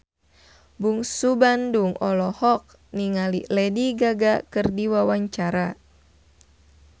Bungsu Bandung olohok ningali Lady Gaga keur diwawancara